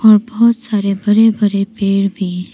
और बहुत सारे बड़े बड़े पेड़ भी--